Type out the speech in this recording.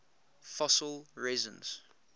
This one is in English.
fossil resins